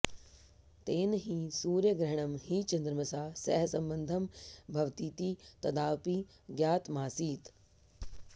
तेन हि सूर्यग्रहणं हि चन्द्रमसा सह सम्बद्धं भवतीति तदाऽपि ज्ञातमासीत्